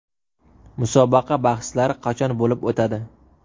Musobaqa bahslari qachon bo‘lib o‘tadi?